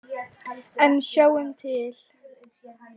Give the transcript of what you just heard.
En sjáum til.